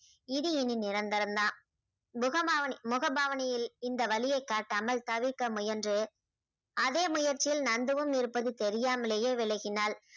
இது இனி நிரந்தரம்தான் புகமாவனி~ முகபாவனியில் இந்த வலியை காட்டாமல் தவிர்க்க முயன்று அதே முயற்சியில் நந்துவும் இருப்பது தெரியாமலேயே விலகினாள்